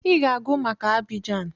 I ga-agụ maka Abidjan!